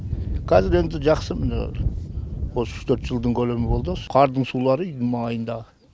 қазір енді жақсы міне осы үш төрт жылдың көлемі болды осы қардың сулары үйдің маңайындағы